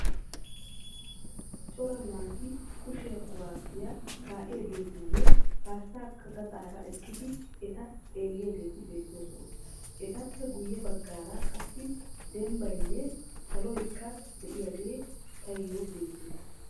Cora naati kushe kuwaasiya kaa'iyageetinne qassikka gaxaara eqqidi eta xeelliyageeti beettoosona. Etappe guyye baggaara qassi dembbayinne saloyikka diyagee tayyo beettes.